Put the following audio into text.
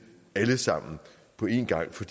alle sammen på en gang for